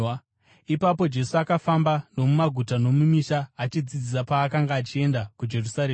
Ipapo Jesu akafamba nomumaguta nomumisha achidzidzisa paakanga achienda kuJerusarema.